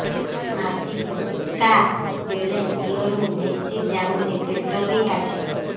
ମାସିକା ବେଳେ ଦିହରୁ ବେଶି ଯାଉଛି ପେଟ ବି କାଟେ